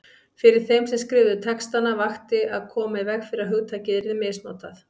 Fyrir þeim sem skrifuðu textana vakti að koma í veg fyrir að hugtakið yrði misnotað.